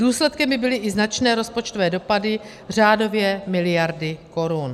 Důsledkem by byly i značné rozpočtové dopady, řádově miliardy korun.